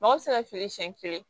Mɔgɔ bɛ se ka feere siyɛn kelen